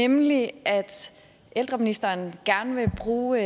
nemlig at ældreministeren gerne vil bruge